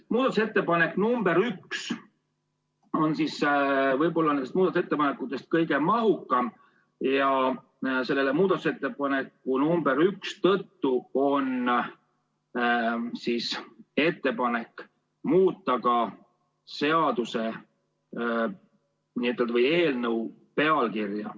Muudatusettepanek nr 1 on muudatusettepanekutest kõige mahukam ja selle ettepaneku tõttu on ka ettepanek muuta seaduse ja eelnõu pealkirja.